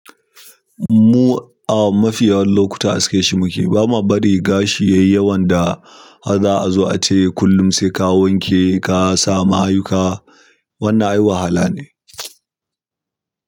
Mu a mafiya lokuta aske shi muke, bama bari gashi yayi yawan da a za a zo a ce kullum sai ka wanke ka sa mayuka. Wannan ai wahala ne.